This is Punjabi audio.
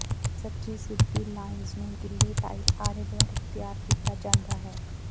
ਸੱਚੀ ਸਿੱਧੀ ਲਾਈਨਜ਼ ਨੂੰ ਗਿੱਲੇ ਟਾਇਲ ਆਰੇ ਦੁਆਰਾ ਤਿਆਰ ਕੀਤਾ ਜਾਂਦਾ ਹੈ